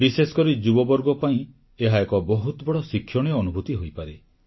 ବିଶେଷକରି ଯୁବବର୍ଗ ପାଇଁ ଏହା ଏକ ବହୁତ ବଡ଼ ଶିକ୍ଷଣୀୟ ଅନୁଭୂତି ହୋଇପାରେ